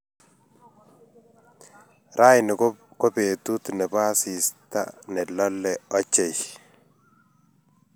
Raini ko betut ne bo asist a ne lolei ochei.